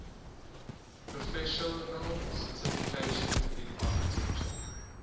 professional certification in architecture